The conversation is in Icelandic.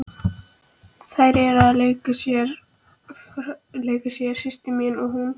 Þær eru að leika sér saman, systir mín og hún.